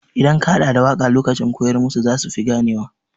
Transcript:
Idan ka haɗa da waƙa lokacin koyar musu zasu fi gane wa.